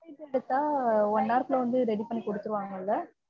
one hour குள்ள வந்து ready பண்ணி குடுத்துருவாங்க இல்ல?